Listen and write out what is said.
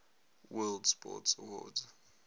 world sports awards